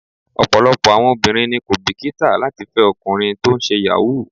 Ọ̀pọ̀lọpọ̀ àwọn obìnrin ni kò bìkítà láti fẹ́ ọkùnrin tó ń ṣe Yahoo.